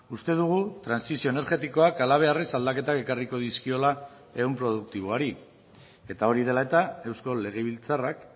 uste dugu trantsizio energetikoak halabeharrez aldaketak ekarriko dizkiola ehun produktiboari eta hori dela eta eusko legebiltzarrak